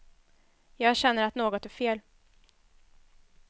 Jag känner att något är fel.